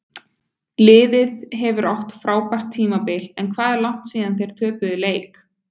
Liðið hefur átt frábært tímabil en hvað er langt síðan þeir töpuðu leik?